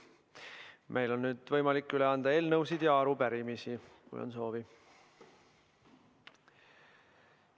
Meil on võimalik üle anda eelnõusid ja arupärimisi, kui on soovi.